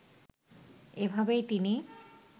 এভাবেই তিনি